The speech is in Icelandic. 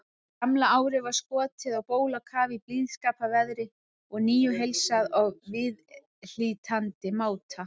Gamla árið var skotið á bólakaf í blíðskaparveðri og nýju heilsað á viðhlítandi máta.